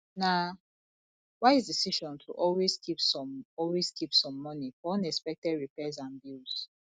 na wise decision to always keep some always keep some money for unexpected repairs and bills